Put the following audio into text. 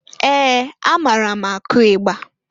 Ee! Amaara m akụ igba.